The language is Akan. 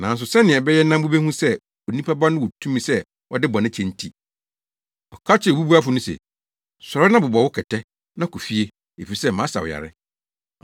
Nanso sɛnea ɛbɛyɛ na mubehu sɛ Onipa Ba no wɔ tumi sɛ ɔde bɔne kyɛ nti. Ɔka kyerɛɛ obubuafo no se, “Sɔre na bobɔw wo kɛtɛ, na kɔ fie efisɛ masa wo yare.”